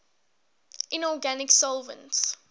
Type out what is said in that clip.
inorganic solvents